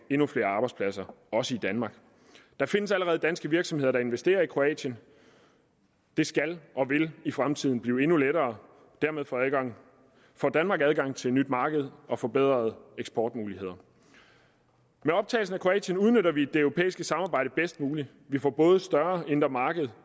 endnu flere arbejdspladser også i danmark der findes allerede danske virksomheder der investerer i kroatien det skal og vil i fremtiden blive endnu lettere og dermed får danmark adgang til et nyt marked og forbedrede eksportmuligheder med optagelsen af kroatien udnytter vi det europæiske samarbejde bedst muligt vi får både et større indre marked